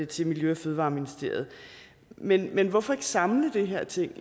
til miljø og fødevareministeriet men men hvorfor ikke samle de her ting